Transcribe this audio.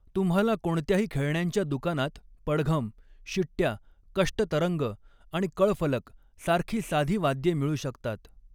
तुम्हाला कोणत्याही खेळण्यांच्या दुकानात पडघम, शिट्या, कष्टतरंग आणि कळफलक सारखी साधी वाद्ये मिळू शकतात.